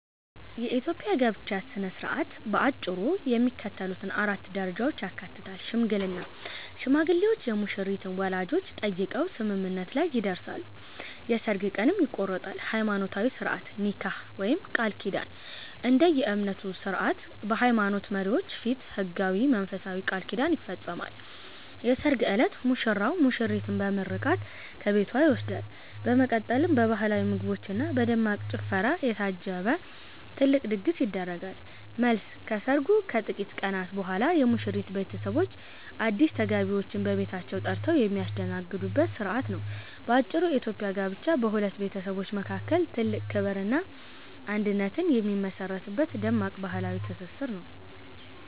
የኢትዮጵያ የጋብቻ ሥነ ሥርዓት በአጭሩ የሚከተሉትን 4 ደረጃዎች ያካትታል፦ ሽምግልና፦ ሽማግሌዎች የሙሽሪትን ወላጆች ጠይቀው ስምምነት ላይ ይደርሳሉ፤ የሠርግ ቀንም ይቆረጣል። ሃይማኖታዊ ሥርዓት (ኒካህ/ቃል ኪዳን)፦ እንደየእምነቱ ሥርዓት በሃይማኖት መሪዎች ፊት ሕጋዊና መንፈሳዊ ቃል ኪዳን ይፈጸማል። የሠርግ ዕለት፦ ሙሽራው ሙሽሪትን በምርቃት ከቤቷ ይወስዳል፤ በመቀጠልም በባህላዊ ምግቦችና በደማቅ ጭፈራ የታጀበ ትልቅ ድግስ ይደረጋል። መልስ፦ ከሰርጉ ከጥቂት ቀናት በኋላ የሙሽሪት ቤተሰቦች አዲስ ተጋቢዎችን በቤታቸው ጠርተው የሚያስተናግዱበት ሥርዓት ነው። ባጭሩ፤ የኢትዮጵያ ጋብቻ በሁለት ቤተሰቦች መካከል ትልቅ ክብርና አንድነት የሚመሠረትበት ደማቅ ባህላዊ ትስስር ነው።